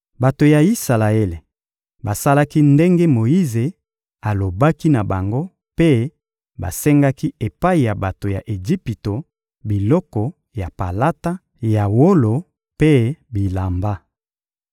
Bato ya Isalaele basalaki ndenge Moyize alobaki na bango mpe basengaki epai ya bato ya Ejipito biloko ya palata, ya wolo mpe bilamba.